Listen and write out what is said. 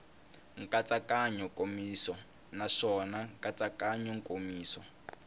nkatsakanyo nkomiso naswona nkatsakanyo nkomiso